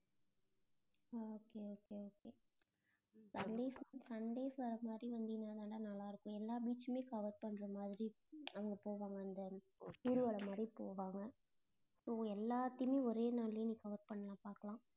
okay okay okaysunday~ sundays வர மாதிரி வந்தீங்கன்னாதான்டா நல்லா இருக்கும் எல்லா beach உமே cover பண்ற மாதிரி ஹம் அங்க போவாங்க அந்த ஊர்வலம் மாறி போவாங்க so எல்லாத்தையுமே ஒரே நாள்லயே நீ cover பண்ணலாம் பார்க்கலாம்.